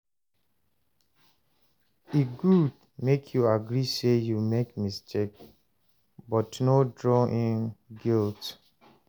E gud mek yu agree say yu mek mistake, but no drown in guilt